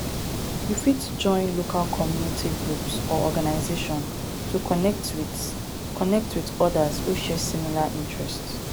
you fit join local community groups or organization to connect with connect with odas who share similar interests